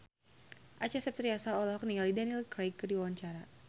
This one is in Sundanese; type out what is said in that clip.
Acha Septriasa olohok ningali Daniel Craig keur diwawancara